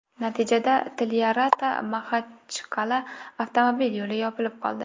Natijada TlyarataMaxachqal’a avtomobil yo‘li yopilib qoldi.